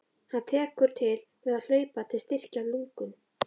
Hann tekur til við að hlaupa til að styrkja lungun.